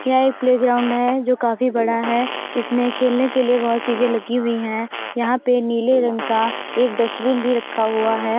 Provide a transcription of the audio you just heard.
यह एक प्लेग्राउन्ड है जो काफी बड़ा है । इसमें खेलने के लिए बहोत (बहुत) चीजे़ लगी हुई है यहाँ पे नीले रंग का एक डस्ट्बिन भी रखा हुआ है।